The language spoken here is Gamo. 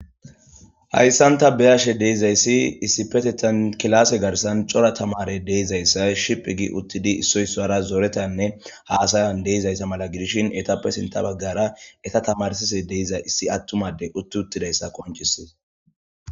hayssanta beyashe deizayssi issi petetan kilase garsan cora tamare deizayssa shiphi gi uttidi issoysara zooretanne ha asayan deizaysa mala gidishin etappe sinta baggara eta tamarsise deiza issi attumade utti uttidayssa qonchisis